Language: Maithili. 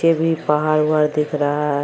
के भी पहाड़-उहाड़ दिख रहा है।